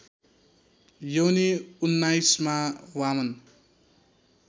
योनी उन्नाइसमा वामन